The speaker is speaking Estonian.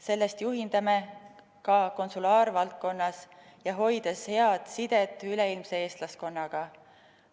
Sellest juhindume ka konsulaarvaldkonnas ja hoides head sidet üleilmse eestlaskonnaga.